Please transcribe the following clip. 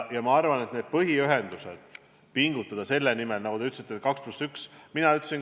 Ma arvan, et põhiühenduste puhul pingutada selle nimel, nagu te ütlesite, et valmiks 2 + 1 maantee, ei ole taunitav.